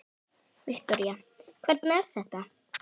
Viktoría: Hvernig er þetta?